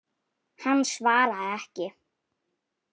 Hann svaraði ekki.